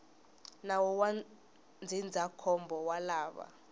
nawu wa ndzindzakhombo wa lava